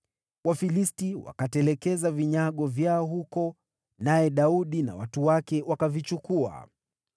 Wafilisti wakaiacha miungu yao huko, naye Daudi na watu wake wakaichukua.